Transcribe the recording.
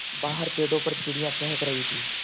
बाहर पेड़ों पर चिड़ियाँ चहक रही थीं